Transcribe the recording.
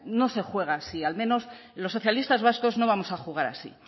no se juega así al menos los socialistas vascos no vamos a jugar así